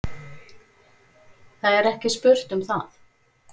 Það er ekki spurt um það.